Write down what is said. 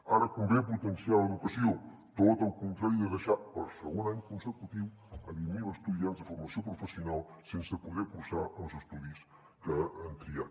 ara convé potenciar l’educació tot el contrari de deixar per segon any consecutiu vint mil estudiants de formació professional sense poder cursar els estudis que han triat